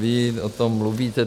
- Vy o tom mluvíte.